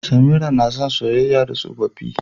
Samira na son saƴaƴa da tsoffi.